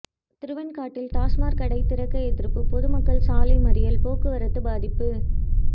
திருவெண்காட்டில் டாஸ்மாக் கடை திறக்க எதிர்ப்பு பொதுமக்கள் சாலை மறியல் போக்குவரத்து பாதிப்பு